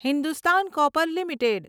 Hindustan copper limited